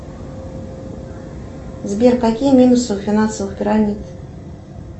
сбер какие минусы у финансовых пирамид